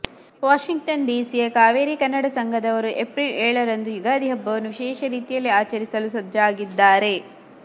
Washington ಡಿಸಿಯ ಕಾವೇರಿ ಕನ್ನಡ ಸಂಘದವರು April ಏಳರಂದು ಯುಗಾದಿ ಹಬ್ಬವನ್ನು ವಿಶೇಷ ರೀತಿಯಲ್ಲಿ ಆಚರಿಸಲು ಸಜ್ಜಾಗಿದ್ದಾರೆ